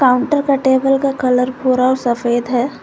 Counter का table का colour भूरा और सफेद है।